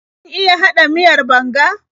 Kin iya haɗa miyar banga?